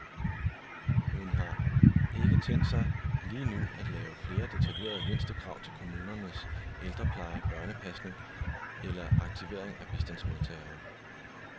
Hun har ikke tænkt sig lige nu at lave flere detaljerede mindstekrav til kommunernes ældrepleje, børnepasning eller aktivering af bistandsmodtagere.